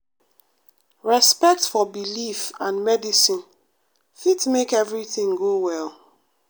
respect for belief and medicine fit make everything go well.